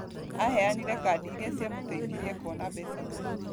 Aheanire kadi iria ciamteithirie kuona mbeca mũno